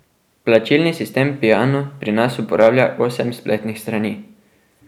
Plačilni sistem Piano pri nas uporablja osem spletnih strani.